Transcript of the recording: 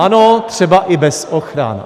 Ano, třeba i bez ochran.